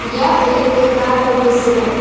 यह एक कार का दृश्य है।